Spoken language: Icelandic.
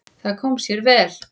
Það kom sér mjög vel.